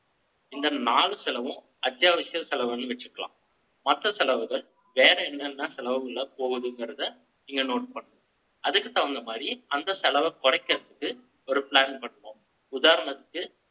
இந்த நாலு செலவும், அத்தியாவசிய செலவுன்னு வச்சுக்கலாம். மத்த செலவுகள், வேற என்னென்ன செலவுகள்ல போகுதுங்கிறதை, நீங்க note பண்ணணும். அதுக்கு தகுந்த மாதிரி, அந்த செலவை குறைக்கிறதுக்கு, ஒரு plan பண்ணுவோம். உதாரணத்துக்கு,